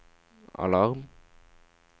alarm